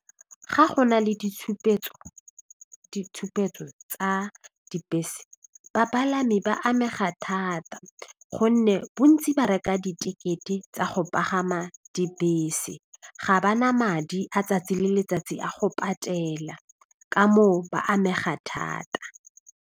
Ga go na le ditshupetso, ditshupetso tsa dibese bapalami ba amega thata gonne bontsi ba reka ditekete tsa go pagama dibese ga ba na madi a tsatsi le letsatsi a go patela ka moo ba amega thata.